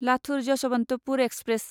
Latur Yesvantpur express